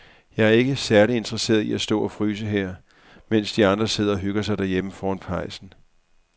Jeg er ikke særlig interesseret i at stå og fryse her, mens de andre sidder og hygger sig derhjemme foran pejsen.